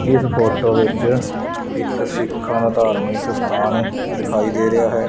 ਇਸ ਫੋਟੋ ਵਿੱਚ ਇੱਕ ਸਿੱਖਾਂ ਦਾ ਧਾਰਮਿਕ ਸਥਾਨ ਦਿਖਾਈ ਦੇ ਰਿਹਾ ਹੈ।